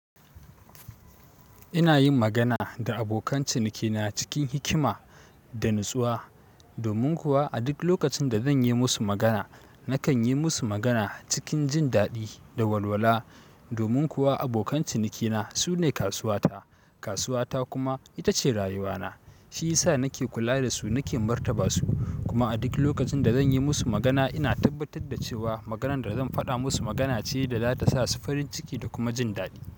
Ina yin magana da abokan cinikina cikin hikima da natsuwa. Domin kuwa a duk lokacin da zan yi musu magana, nakan yi musu magana cikin jin daɗi da walwala. Domin kuwa abokan cinikina su ne kasuwata, kasuwata kuma ita ce rayuwana. Shi ya sa nake kula da su, nake martaba su. Kuma a duk lokacin da zan yi musu magana, ina tabbatar da cewa maganan da zan faɗa musu magana ce da za ta sa su farin ciki da kuma jin daɗi.